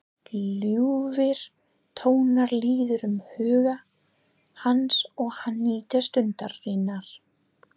Ljúfir tónar líða um huga hans og hann nýtur stundarinnar.